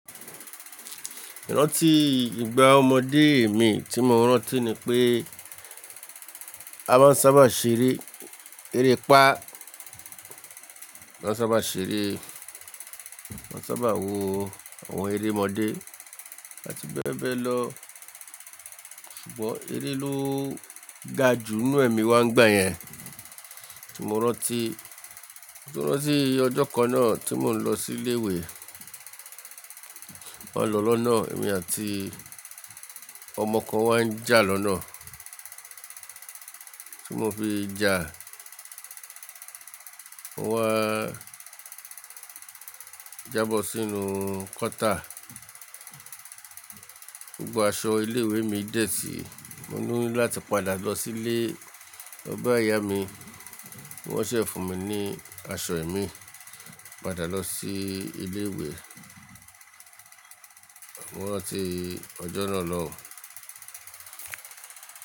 Rántí ìgbà ọmọdé mi tí mo rántí ni pé a máa ń sábà ṣeré erépá, a máa ń sábà ṣeré, a sábà wo àwọn eré ọmọdé àti bẹ́ẹ̀ bẹ́ẹ̀ lọ. Ṣùgbọ́n eré ló ga jù nínú ẹ̀mí wa nígbà yẹn. Tí mo rántí, mo rántí ọjọ́ kan náà tí mò ń lọ sí ilé ìwé. Mon lọ lọ́nà, èmi àti ọmọ kan wá ń jà lọ́nà. Tí mo fi jà, mo wá jábọ̀ sínú kọ́tà. Gbogbo aṣọ ilé ìwé mi dẹ́tì. Mo ní láti padà lọ sílé mo ba Ìyá mi, kí wọ́n se fún mi ní aṣọ ẹ̀mí, padà lọ sí ilé ìwé. Mo rántí ọjọ́ náà lọ́hùn.